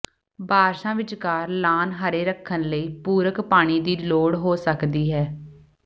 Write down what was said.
ਬਾਰਸ਼ਾਂ ਵਿਚਕਾਰ ਲਾਅਨ ਹਰੇ ਰੱਖਣ ਲਈ ਪੂਰਕ ਪਾਣੀ ਦੀ ਲੋੜ ਹੋ ਸਕਦੀ ਹੈ